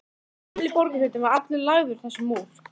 Karen Kjartansdóttir: Hvað endist hver farmur lengi?